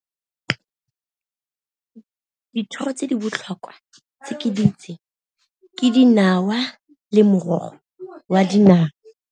Dithoro tse di botlhokwa tse ke di tseng ke dinawa le morogo wa dinawa.